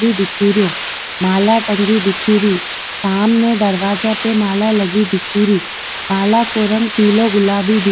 दिखे रो माला टंगी दिखे री सामने दरवाजो पर माला लगी दिखे री माला को रंग पिलो गुलाबी दि --